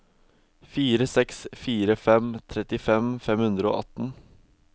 fire seks fire fem trettifem fem hundre og atten